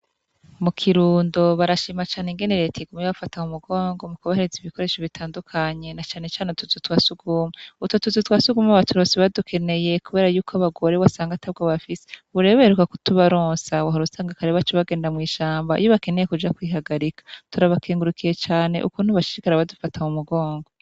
Mukirundo barashima cane ingene reta iguma ibafata mumugongo mukubahereza udukoresho dutandukanye na cane cane utuzu twasugume utwo tuzu twasugume baturonse badukeneye kubera yuko abagore wasanga atabwo bafise ubu rero bakeneye kutubaronsa kare baca bagenda mwishamba iyo bakeneye kuja kwihagarika turabakengurukiye cane ukungene bashishikara badufashe kumugongo